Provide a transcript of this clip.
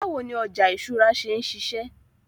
Báwo ni ọjà ìṣúra ṣe ń ṣiṣẹ́?